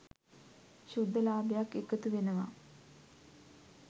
ශුද්ධ ලාභයක්‌ එකතු වෙනවා.